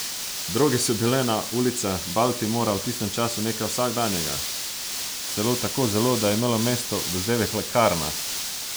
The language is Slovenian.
Droge so bile na ulicah Baltimora v tistem času nekaj vsakdanjega, celo tako zelo, da je imelo mesto vzdevek lekarna.